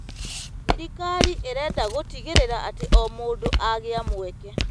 Thirikari ĩrenda gũtigĩrĩra atĩ o mũndũ agĩa mweke.